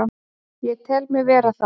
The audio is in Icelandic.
Ég tel mig vera það.